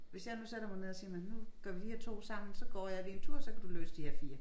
Hvis jeg nu sætter mig ned og siger men nu gør vi de her 2 sammen så går jeg lige en tur så kan du løse de her 4